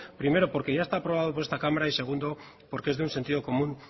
primero porque ya está aprobado por esta cámara y segundo porque es de un sentido común